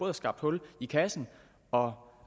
har skabt hul i kassen og